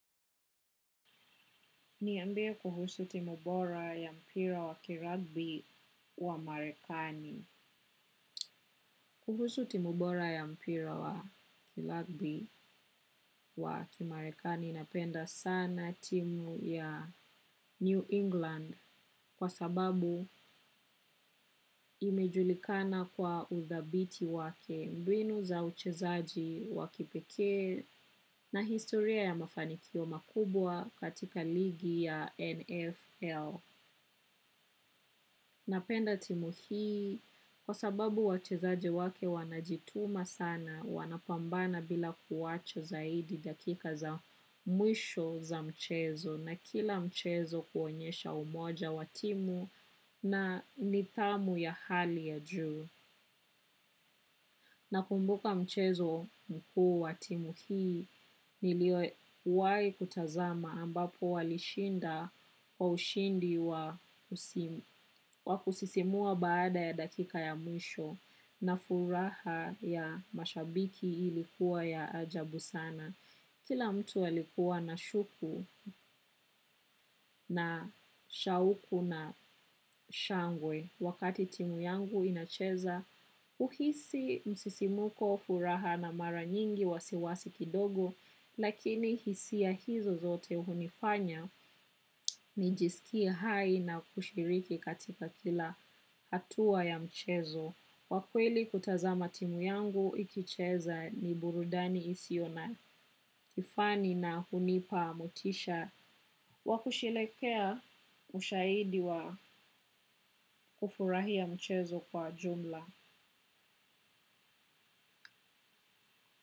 Niambie kuhusu timu bora ya mpira wa kiragbi wa marekani. Kuhusu timu bora ya mpira wa kiragbi wa kimarekani napenda sana timu ya New England kwa sababu imejulikana kwa udhabiti wake mbinu za uchezaji wa kipekee na historia ya mafanikio makubwa katika ligi ya NFL. Napenda timu hii kwa sababu wachezaje wake wanajituma sana wanapambana bila kuwacha zaidi dakika za mwisho za mchezo na kila mchezo kuonyesha umoja wa timu na nidhamu ya hali ya juu. Nakumbuka mchezo mkuu wa timu hii niliowahi kutazama ambapo walishinda kwa ushindi wa kusisimua baada ya dakika ya mwisho na furaha ya mashabiki ilikuwa ya ajabu sana. Kila mtu alikuwa na shuku na shauku na shangwe wakati timu yangu inacheza huhisi msisimko furaha na mara nyingi wasiwasi kidogo lakini hisia hizo zote hunifanya nijisikie hai na kushiriki katika kila hatua ya mchezo. Kwa kweli kutazama timu yangu ikicheza ni burudani isiyo na kifani na hunipa motisha wa kusherehekea ushaidi wa kufurahia mchezo kwa jumla.